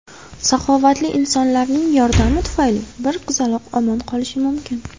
Saxovatli insonlarning yordami tufayli bir qizaloq omon qolishi mumkin.